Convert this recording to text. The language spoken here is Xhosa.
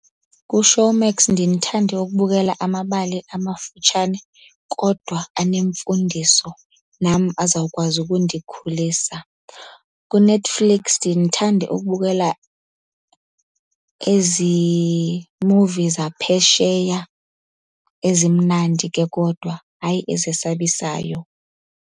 KuShowmax ndiye ndithande ukubukela amabali amafutshane kodwa anemfundiso, nam azawukwazi ukundikhulisa. KuNetflix ndiye ndithande ukubukela ezi movie zaphesheya ezimnandi ke kodwa, hayi ezesabisayo.